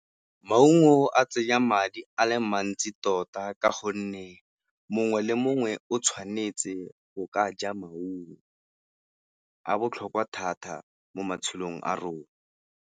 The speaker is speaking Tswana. Maungo a tsenya madi a le mantsi tota ka gonne mongwe le mongwe o tshwanetse go ka ja maungo, a botlhokwa thata mo matshelong a rona.